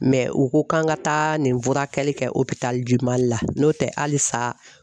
u ko k'an ka taa nin furakɛli kɛ Mali la n'o tɛ hali sa